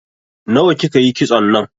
Nawa ki ka yi kitson nan?